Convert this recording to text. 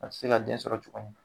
A tɛ se ka den sɔrɔ tuguni